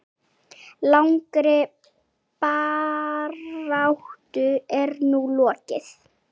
Langri baráttu er nú lokið.